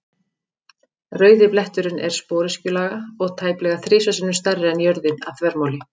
Rauði bletturinn er sporöskjulaga og tæplega þrisvar sinnum stærri en jörðin að þvermáli.